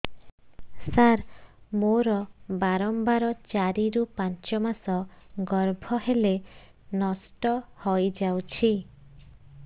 ସାର ମୋର ବାରମ୍ବାର ଚାରି ରୁ ପାଞ୍ଚ ମାସ ଗର୍ଭ ହେଲେ ନଷ୍ଟ ହଇଯାଉଛି